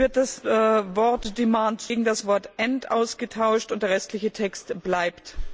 Es wird das Wort gegen das Wort ausgetauscht, und der restliche Text bleibt.